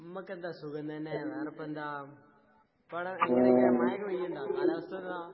ഇമ്മക്കെന്താ സുഖം തന്നെ. വേറെപ്പെന്താ? ഇപ്പവടെ എങ്ങനെക്കെ മഴേക്കെ പെയ്യ്ണ്ടാ? കാലാവസ്ഥോക്കാ?